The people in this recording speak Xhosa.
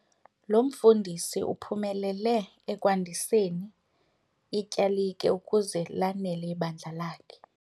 Lo mfundisi uphumelele ekwandiseni ityalike ukuze lanele ibandla.